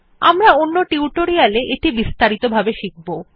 আমরা অন্য টিউটোরিয়াল এ এটি বিস্তারিত ভাবে শিখব